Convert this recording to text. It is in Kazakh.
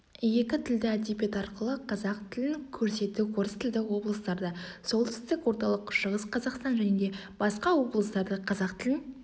екі тілді әдебиет арқылы қазақ тілін көрсету орыс тілді облыстарда солтүстік орталық шығыс қазақстан және басқа облыстарда қазақ тілін